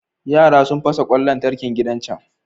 Yara sun fasa ƙwan lantarkin gidan can.